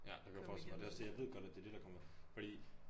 Ja det kunne jeg forestille mig jeg ved også at det er det der kommer fordi